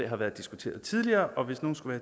har været diskuteret tidligere og hvis nogen skulle